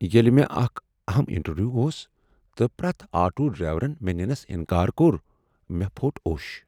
ییٚلہ مےٚ اکھ اہم انٹرویو اوس تہٕ پرٛیتھ آٹو ڈرٛیورن مےٚ ننس انکار کوٚر ۔مے٘ پھو٘ٹ اوش ۔